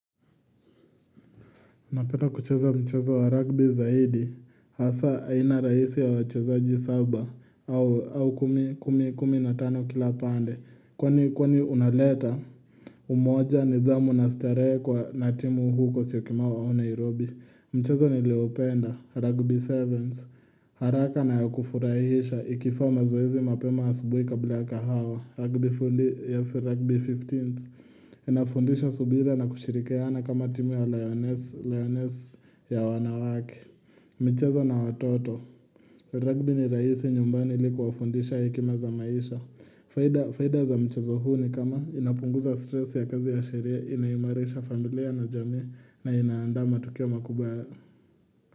Napenda kucheza mchezo wa rugby zaidi, hasa aina rahisi ya wachezaji saba, au kumi kumi na tano kila pande, kwani kwani unaleta. Umoja nidhamu na starehe kwa na timu huko syokimau wao Nairobi. Mchezo ni Leo penda, Rugby Sevens, haraka na ya kufurahisha, ikifaa zoezi mapema asubui kabla ya kahawa, Rugby Fifteens. Inafundisha subira na kushirikiana kama timu ya lioness, lioness ya wanawake michezo na watoto Rugby ni raisi nyumbani li kufundisha hekima za maisha Faida za michazo huu ni kama inapunguza stress ya kazi ya shaleria Inaimareisha familia na jamii na inaandaa matukio makubwa.